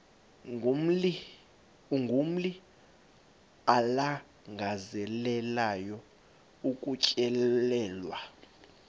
umguli alangazelelayo ukutyelelwa